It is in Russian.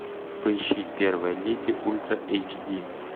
поищи первая леди ультра эйч ди